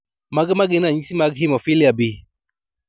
Mage magin ranyisi mag Hemophilia B?